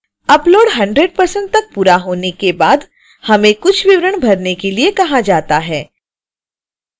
upload 100% तक पूरा होने के बाद हमें कुछ विवरण भरने के लिए कहा जाता है